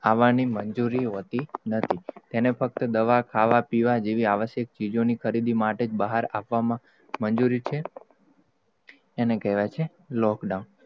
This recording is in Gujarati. આવવાની મંજૂરી હોતી નથી એને ફ્કત, દવા, ખાવા, પીવા જેવી આવશકય ચીજોની, ખરીદી માટે બહાર આવવામાં, મંજૂરી છે એને કેહવાય છે lockdown